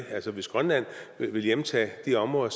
altså hvis grønland vil hjemtage de områder